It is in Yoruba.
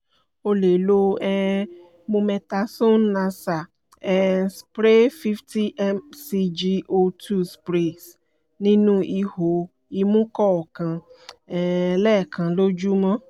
o lè lo um mometasone nasal um spray fifty M-C-G two sprays ní ihò imú kọ̀ọ̀kan um lẹ́ẹ̀kan lójúmọ́